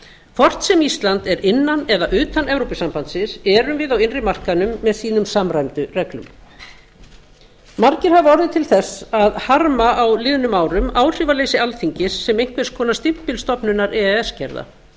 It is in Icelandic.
hvort sem ísland er innan eða utan evrópusambandsins erum við á innri markaðnum með sínum samræmdu reglum margir hafa orðið til þess að harma á liðnum árum áhrifaleysi alþingis sem einhvers konar stimpilstofnunar e e s gerða